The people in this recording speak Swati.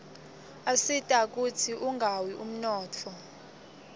asita kutsz unqawi umnotfo